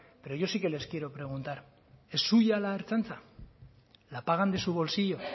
pero yo sí que les quiero preguntar es suya la ertzaintza la pagan de su bolsillo